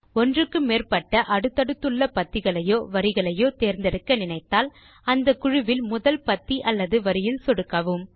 ஒன்றுக்கு மேற்பட்ட அடுத்தடுத்துள்ள பத்திகளையோ வரிகளையோ தேர்ந்தெடுக்க நினைத்தால் அந்த குழுவில் முதல் பத்தி அல்லது வரியில் சொடுக்கவும்